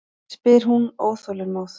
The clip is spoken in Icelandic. spyr hún óþolinmóð.